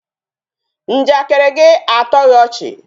Njakịrị gị atọghị ọchị